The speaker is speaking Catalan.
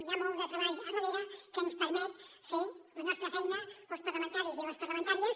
hi ha molt de treball darrere que ens permet fer la nostra feina als parlamentaris i les parlamentàries